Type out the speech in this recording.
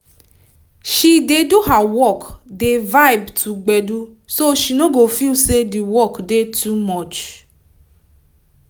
she dey do her work dey vibe to gbedu so she no go feel say d work dey too much